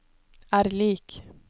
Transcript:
er lik